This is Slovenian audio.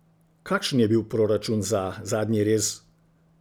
Kakšen je bil proračun za Zadnji rez?